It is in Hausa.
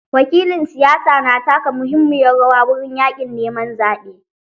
Wakilan siyasa na taka muhimmiyar rawa wurin yaƙin neman zaɓe.